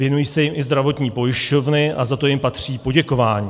Věnují se jim i zdravotní pojišťovny a za to jim patří poděkování.